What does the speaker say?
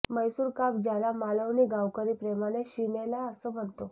मैसूरकाप ज्याला मालवणी गावकरी प्रेमाने शिनेला अस म्हणतो